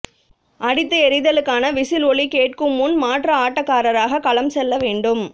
அடித்து எறிதலுக்கான விசில் ஒலி கேட்கும் முன் மாற்று ஆட்டக்காராக களம் செல்லவேண்டும்